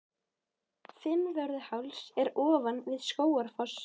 Fimmvörðuháls er ofan við Skógafoss.